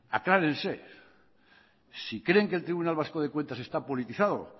aclárense si creen que el tribunal vasco de cuentas está politizado